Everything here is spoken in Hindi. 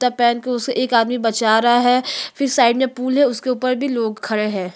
त पैर के उसके एक आदमी बचा रहा है फिर साइड में पूल हैं उसके ऊपर भी लोग खड़े हैं।